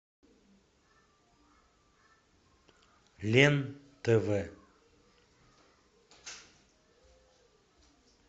лен тв